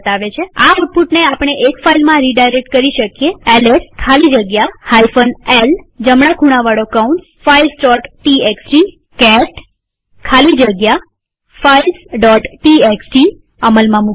આ આઉટપુટને આપણે એક ફાઈલમાં રીડાયરેક્ટ કરી શકીએls ખાલી જગ્યા l જમણા ખૂણાવાળો કૌંસ filesટીએક્સટી કેટ ખાલી જગ્યા filesટીએક્સટી અમલમાં મુકીએ